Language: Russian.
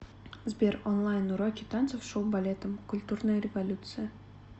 сбер онлайн уроки танцев с шоу балетом культурная революция